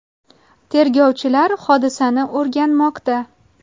Tergovchilar hodisani o‘rganmoqda.